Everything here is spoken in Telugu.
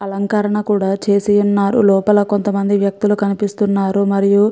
అలంకరణ కూడా చేసి ఉన్నారు లోపల కొంత అమంది వ్యక్తులు కనిపిస్తున్నారు. మరియు --